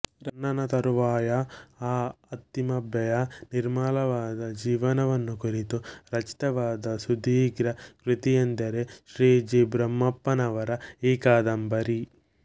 ರನ್ನನ ತರುವಾಯ ಆ ಅತ್ತಿಮಬ್ಬೆಯ ನಿರ್ಮಲವಾದ ಜೀವನವನ್ನು ಕುರಿತು ರಚಿತವಾದ ಸುದೀರ್ಘ ಕೃತಿಯೆಂದರೆ ಶ್ರೀ ಜಿ ಬ್ರಹ್ಮಪ್ಪನವರ ಈ ಕಾದಂಬರಿ